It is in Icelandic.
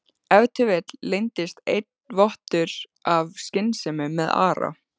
Ef til vill leyndist enn vottur af skynsemi með Ara?